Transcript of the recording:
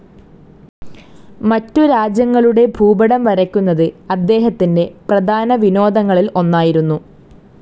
മറ്റ് രാജ്യങ്ങളുടെ ഭൂപടം വരയ്ക്കുന്നത് അദ്ദേഹത്തിന്റെ പ്രധാനവിനോദങ്ങളിൽ ഒന്നായിരുന്നു.